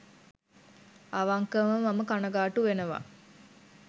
අවංකවම මම කනගා‍ටු වෙනවා